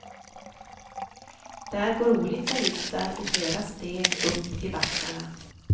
Där går olika liftar i flera steg upp i backarna.